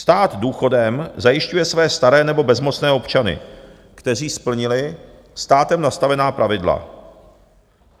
Stát důchodem zajišťuje své staré nebo bezmocné občany, kteří splnili státem nastavená pravidla.